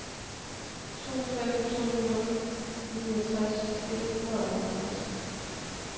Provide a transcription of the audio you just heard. to fem to nul niogtres et hundrede og halvtreds